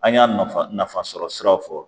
An y'a nafa nafa sɔrɔ siraw fɔ